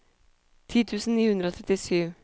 ti tusen ni hundre og trettisju